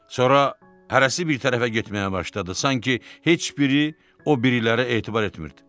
Sonra hərəsi bir tərəfə getməyə başladı, sanki heç biri o birilərə etibar etmirdi.